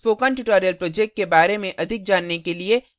spoken tutorial project के बारे में अधिक जानने के लिए